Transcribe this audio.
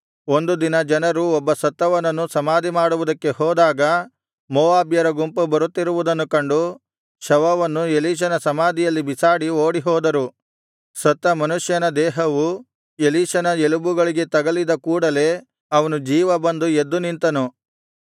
ಒಂದು ದಿನ ಜನರು ಒಬ್ಬ ಸತ್ತವನನ್ನು ಸಮಾಧಿಮಾಡುವುದಕ್ಕೆ ಹೋದಾಗ ಮೋವಾಬ್ಯರ ಗುಂಪು ಬರುತ್ತಿರುವುದನ್ನು ಕಂಡು ಶವವನ್ನು ಎಲೀಷನ ಸಮಾಧಿಯಲ್ಲಿ ಬಿಸಾಡಿ ಓಡಿಹೋದರು ಸತ್ತ ಮನುಷ್ಯನ ದೇಹವು ಎಲೀಷನ ಎಲುಬುಗಳಿಗೆ ತಗಲಿದ ಕೂಡಲೆ ಅವನು ಜೀವ ಬಂದು ಎದ್ದು ನಿಂತನು